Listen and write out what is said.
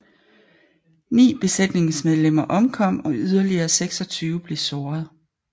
Ni besætningsmedlemmer omkom og yderligere 26 blev såret